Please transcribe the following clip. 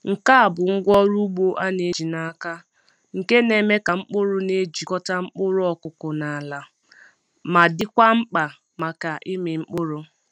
Nke a bụ ngwá ọrụ ugbo a na-eji n’aka nke na-eme ka mkpụrụ na-ejikọta mkpụrụ ọkụkụ na ala, ma dịkwa mkpa maka ịmị mkpụrụ.